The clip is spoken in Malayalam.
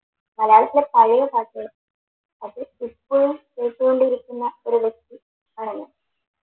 മലയാളത്തിലെ പഴയ പാട്ടുകൾ അത് ഇപ്പോഴും കേട്ടോണ്ടിരിക്കുന്ന ഒരു ആണല്ലോ